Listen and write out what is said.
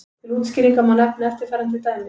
Til útskýringar má nefna eftirfarandi dæmi.